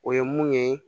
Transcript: O ye mun ye